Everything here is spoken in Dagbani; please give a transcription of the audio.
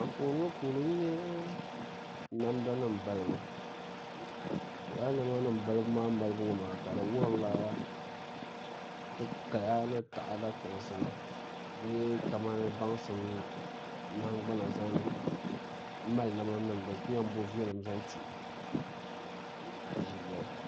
Anfooni ŋɔ puuni n nyɛ namda nim balibu laa namda nim balibu ŋɔ maa ka di wuhurila ti kaya ni taada kpaŋsibu bee kamani baŋsim di nahangbana zaŋ mali namda nima din ku yɛn bo viɛlim zaŋti ti ʒilɛli